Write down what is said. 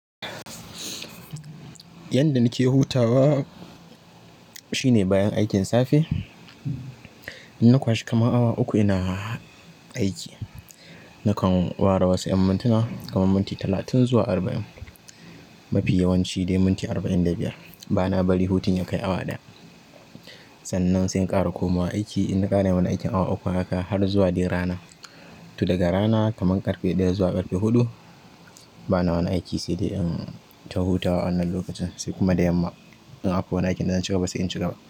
Yanda nake hutawa shine bayan aikin safe, in na kwashi kaman awa uku ina aiki nakan ware wasu 'yan mintuna kaman minti talatin zuwa arba'in. Mafi yawanci dai minti arba'in da biyar bana bari hutun ya kai awa ɗaya, sanan sai in ƙara komawa bakin aiki in na ƙara wani aikin awa uku haka har zuwa dai rana. To daga rana kaman ƙarfe ɗaya zuwa ƙarfe huɗu bana wani aiki sai dai in ta hutawa wannan lokacin sai kuma da yamma in akwa wani aikin na dace kuma basu in cika ba.